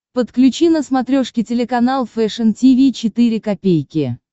подключи на смотрешке телеканал фэшн ти ви четыре ка